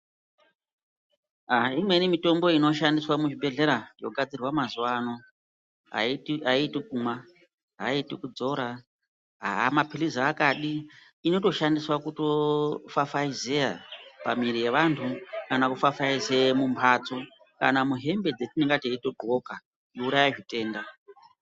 Haa imweni mitombo inoshandiswa muchibhedhlera yogadzirwa mazuva ano haiiti kunwa, haiiti kudzora hamaphirizi akadi. Inotoshandiswa kutoofafaizeya pamwiri yevantu, kana kufafaizeya mumbatso, kana muhembe dzetinonga teito dhloka kuuraya zvitenda.